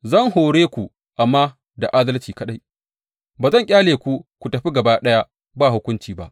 Zan hore ku amma da adalci kaɗai; ba zan ƙyale ku ku tafi gaba ɗaya ba hukunci ba.’